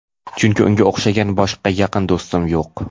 Chunki unga o‘xshagan boshqa yaqin do‘stim yo‘q.